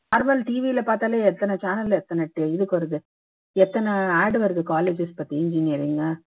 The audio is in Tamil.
nomal TV யில பாத்தாலே எத்தனை channel ல எத்தனை இதுக்கு வருது எத்தனை ad வருது colleges பத்தி